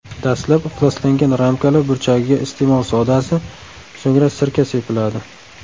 Dastlab ifloslangan ramkalar burchagiga iste’mol sodasi, so‘ngra sirka sepiladi.